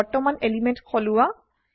বৰ্তমান এলিমেন্ট সলোৱা